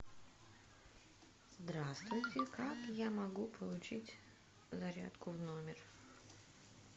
здравствуйте как я могу получить зарядку в номер